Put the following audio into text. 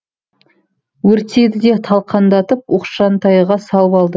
өртеді де талқандатып оқшантайға салып алды